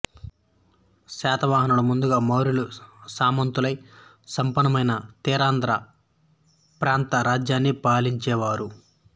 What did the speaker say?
శాతవాహనులు ముందుగా మౌర్యుల సామంతులై సంపన్నమైన తీరాంధ్ర ప్రాంత రాజ్యాన్ని పాలించేవారు